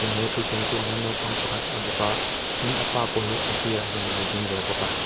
tin he thutthleng chungah hian naupang pakhat a bawk a tin a pa pawh hi a sir ah hian alo ding ve bawk a.